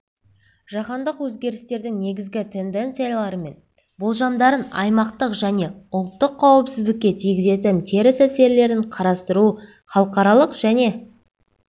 жаһандық өзгерістердің негізгі тенденциялары мен болжамдарын аймақтық және ұлттық қауіпсіздікке тигізетін теріс әсерлерін қарастыру халықаралық және